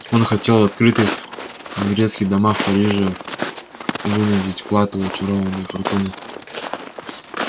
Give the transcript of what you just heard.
он хотел в открытых игрецких домах парижа вынудить клад у очарованной фортуны